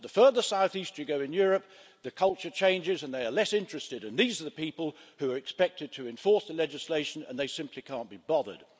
But the further south-east you go in Europe, the more the culture changes, and they are less interested. These are the people who are expected to enforce the legislation, and they simply can't be bothered.